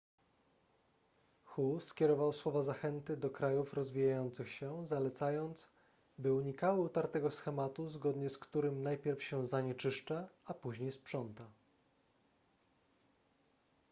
hu skierował słowa zachęty do krajów rozwijających się zalecając by unikały utartego schematu zgodnie z którym najpierw się zanieczyszcza a później sprząta